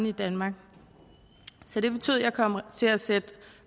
i danmark så det betød at jeg kom til at sætte